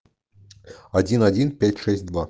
один один пять шесть два